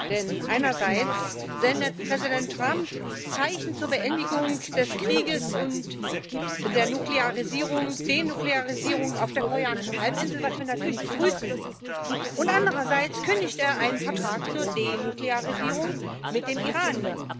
Denn einerseits sendet Präsident Trump Zeichen zur Beendigung des Krieges und zur Denuklearisierung auf der koreanischen Halbinsel, was wir natürlich begrüßen, und andererseits kündigt er einen Vertrag zur Denuklearisierung mit dem Iran.